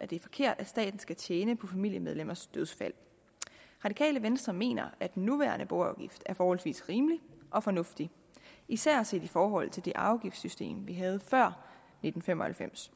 det er forkert at staten skal tjene på familiemedlemmers dødsfald det radikale venstre mener at den nuværende boafgift er forholdsvis rimelig og fornuftig især set i forhold til det afgiftssystem vi havde før nitten fem og halvfems